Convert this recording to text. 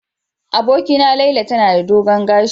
Abokina Laila tana da dogon gashi.